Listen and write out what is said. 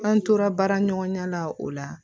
An tora baara ɲɔgɔnya la o la